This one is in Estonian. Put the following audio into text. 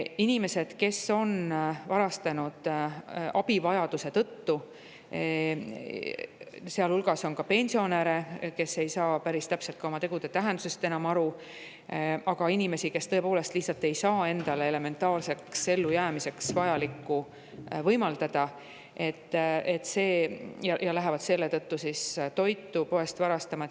Inimeste hulgas, kes on varastanud abivajaduse tõttu, on ka pensionäre, kes alati ei saa päris täpselt oma tegude tähendusest enam aru, aga ka inimesi, kes tõepoolest ei saa endale lihtsalt elementaarseks ellujäämiseks vajalikku võimaldada ja nad lähevad selle tõttu poest toitu varastama.